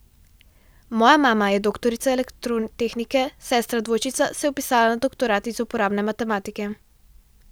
Moja mama je doktorica elektrotehnike, sestra dvojčica se je vpisala na doktorat iz uporabne matematike ...